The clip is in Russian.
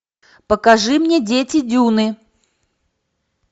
покажи мне дети дюны